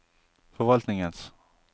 forvaltningens